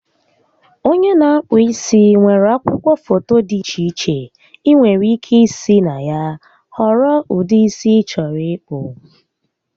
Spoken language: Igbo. Onye n'akpụ isi nwere akwụkwọ foto dị iche iche ịnwere ike isi na ya họrọ ụdị isi ị chọrọ ịkpụ